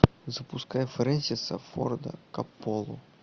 запускай фрэнсиса форда коппола